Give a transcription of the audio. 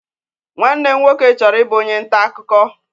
Nwanne m nwoke chọrọ ịbụ onye nta akụkọ.